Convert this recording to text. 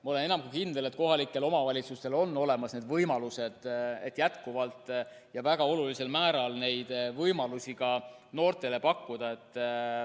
Ma olen enam kui kindel, et kohalikel omavalitsustel on olemas need võimalused, et jätkuvalt ja väga olulisel määral neid võimalusi noortele pakkuda.